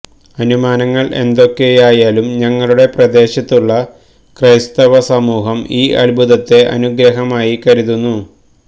അനുമാനങ്ങൾ എന്തൊക്കെയായാലും ഞങ്ങളുടെ പ്രദേശത്തുള്ള ക്രൈസ്തവ സമൂഹം ഈ അത്ഭുതത്തെ ഒരു അനുഗ്രഹമായി കരുതുന്നു